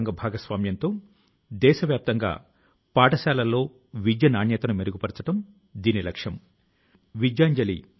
ప్రియమైన నా దేశవాసులారా ఇటీవల నా దృష్టి ఒక ఆసక్తికరమైన ప్రయత్నం మీదకు మళ్లింది